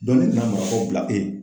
ni nana marakɔ bila